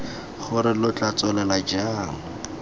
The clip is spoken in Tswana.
gore lo tla tswelela jang